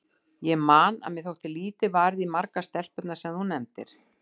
Ég man að mér þótti lítið varið í margar stelpurnar sem þú nefndir.